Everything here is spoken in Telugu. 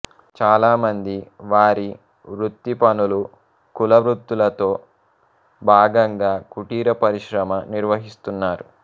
చాలామంది వారి వృత్తిపనులుకుల వృత్తులతో భాగంగా కుటీర పరిశ్రమ నిర్వహిస్తున్నారు